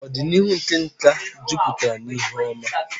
Ọdịnihu nke nka jupụtara n'ihe oma.